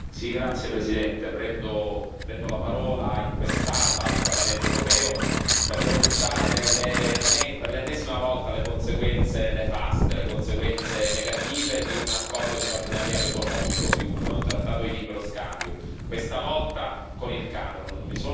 Signora Presidente, onorevoli colleghi, prendo la parola in quest'Aula del Parlamento europeo per denunciare, per l'ennesima volta, le conseguenze nefaste, le conseguenze negative di un accordo di partenariato economico, di un trattato di libero scambio, questa volta con il Camerun.